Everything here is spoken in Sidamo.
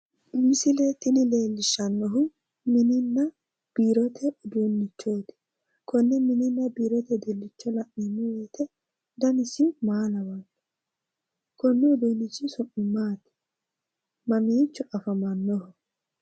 misile tini leellishshanohu minina biirote uduunnichooti kone minina biirote uduunicho la'neemo wote danisi maa lawanno ?, mamiicho afamanoho?